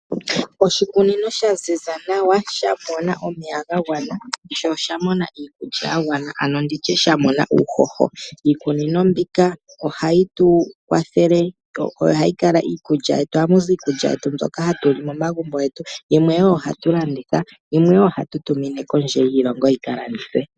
Oshikunino sha ziza nawa, sha mona omeya ga gwana, sho osha mona iikulya ya gwana ano nditye sha mona uuhoho. Iikunino mbika ohayi tu kwathele, yo ohayi kala iikulya yetu ,ohamu zi iikulya yetu mbyoka hatu li momagumbo getu yimwe wo ohatu landitha, yimwe wo ohatu tumine kondje yiilongo yika landithwe.